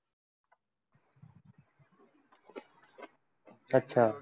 अच्छा